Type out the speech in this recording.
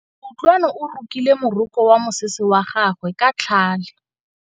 Kutlwanô o rokile morokô wa mosese wa gagwe ka tlhale.